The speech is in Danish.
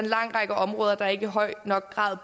lang række områder der ikke i høj nok grad